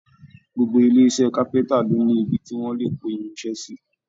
Gbogbo ilé iṣẹ́ kápẹ́ntà ló ní ibi tí wọ́n le kó irin iṣẹ́ sí.